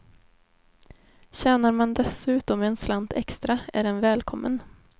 Tjänar man dessutom en slant extra, är den välkommen.